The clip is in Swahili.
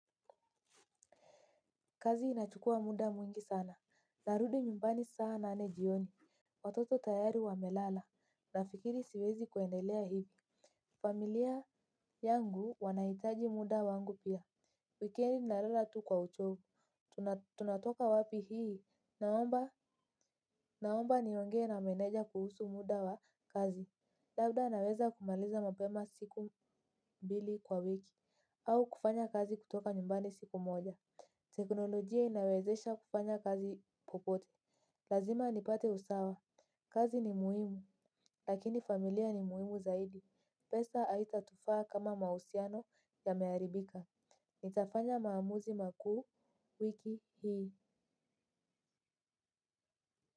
Kazi inachukua muda mwingi sana. Narudi nyumbani sana nane jioni. Watoto tayari wa melala na fikiri siwezi kuendelea hivi. Familia yangu wanahitaji muda wangu pia. Wikendi nalala tu kwa uchovu tunatoka wapi hii naomba niongee na meneja kuhusu muda wa kazi. Labda naweza kumaliza mapema siku mbili kwa wiki. Au kufanya kazi kutoka nyumbani siku moja. Teknolojia inawezesha kufanya kazi popote. Lazima nipate usawa. Kazi ni muhimu. Lakini familia ni muhimu zaidi. Pesa haitatufaa kama mahusiano yameharibika. Nitafanya maamuzi makuu wiki hii.